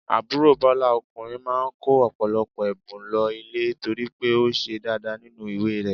Àbúrò Bọ́lá ọkùnrin máa kó ọ̀pọ̀lọpọ̀ ẹ̀bùn lọ ilé torí pé ó ṣe dáadáa nínú ìwé rẹ̀.